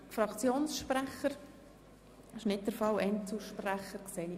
Ich sehe auch keine Wortmeldungen seitens von Einzelsprechern.